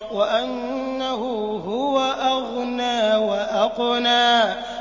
وَأَنَّهُ هُوَ أَغْنَىٰ وَأَقْنَىٰ